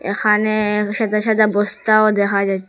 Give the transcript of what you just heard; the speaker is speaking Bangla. এখানে সাদা সাদা বস্তাও দেখা যাছ--